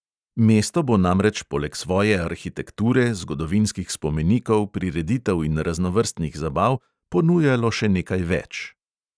Mesto bo namreč poleg svoje arhitekture, zgodovinskih spomenikov, prireditev in raznovrstnih zabav ponujalo še nekaj več.